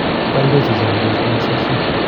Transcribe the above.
bolsot che chamdos komasosio